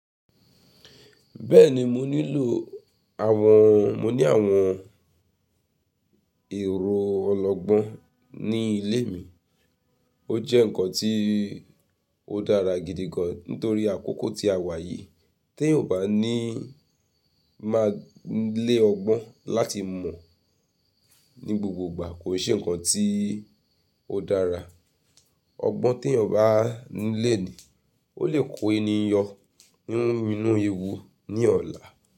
Bẹ́ẹ̀ni mo nílò àwọn, mo ní àwọn èrò ọlọgbọ́n ní ilé mi. Ó jẹ́ ǹkan tí ó dára gidi gan nítorí àkókò tí a wà yìí tí èyàn ò bá ní má lè ọgbọ́n láti mọ̀ ní gbogbo ìgbà kò ṣe ǹkan tí ó dára. Ọgbọ́n tí èyàn bá ní léènì ó lè kó ènìyàn nínú ewu ní ọ̀la.